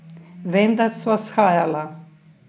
Vendar sva shajala.